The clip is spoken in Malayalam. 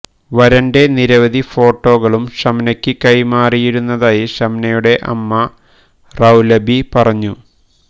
വരന്റെ നിരവധി ഫോട്ടോകളും ഷംനയ്ക്ക് കൈമാറിയിരുന്നതായി ഷംനയുടെ അമ്മ റൌലബി പറഞ്ഞു